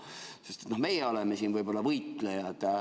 Meie siin oleme võib-olla võitlejad.